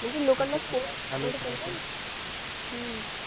चालूच राहते